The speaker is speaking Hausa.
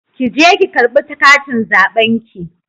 Ki je ki ƙarɓi katin zaɓen ki.